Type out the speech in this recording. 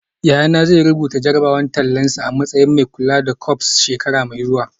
Yayana zai rubuta jarrabawar tallansa a matsayin mai kula da corps shekara mai zuwa